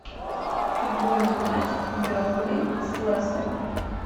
футбольный матч бернли с лестером